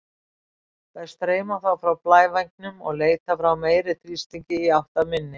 Þær streyma þá frá blævængnum og leita frá meiri þrýstingi í átt að minni.